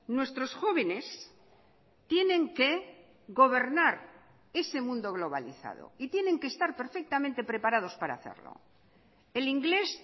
nuestros jóvenes tienen que gobernar ese mundo globalizado y tienen que estar perfectamente preparados para hacerlo el inglés